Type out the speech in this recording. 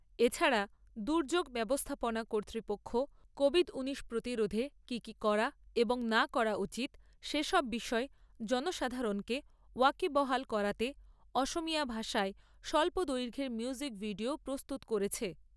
এ ছাড়া দুর্যোগ ব্যবস্থাপনা কর্তৃপক্ষ তেত্তিরিশটি প্রতিরোধে কি কি করা এবং না করা উচিৎ সে সব বিষয়ে জনসাধারণকে ওয়াকিবহাল করাতে অসমীয়া ভাষায় স্বল্প দৈর্ঘ্যের মিউজিক ভিডিও প্রস্তুত করেছে।